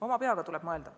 Oma peaga tuleb mõelda.